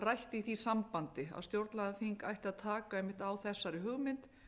rætt í því sambandi að stjórnlagaþing ætti að taka einmitt á þessari hugmynd